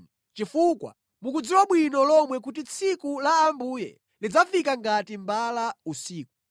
chifukwa mukudziwa bwino lomwe kuti tsiku la Ambuye lidzafika ngati mbala usiku.